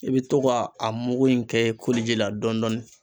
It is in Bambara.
I be to ka a mugu in kɛ koliji la dɔn dɔɔni